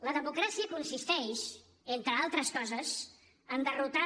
la democràcia consisteix entre altres coses en derrotar